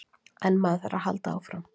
En maður þarf að halda áfram.